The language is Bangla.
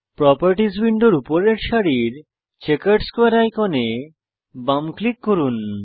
প্রোপার্টিস উইন্ডোর উপরের সারির চেকার্ড স্কোয়ারে আইকনে বাম ক্লিক করুন